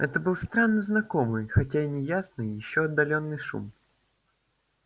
это был странно знакомый хотя и неясный ещё отдалённый шум